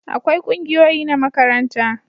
akwai kungiyoyi na makaranta